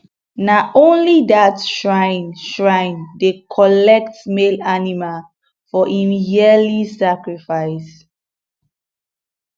na only that shrine shrine dey collect male animal for im yearly sacrifice